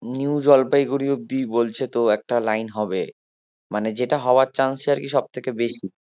new Jalpaiguri অব্দি বলছে তো একটা লাইন হবে মানে যেটা হওয়ার chance ই সব থেকে বেশি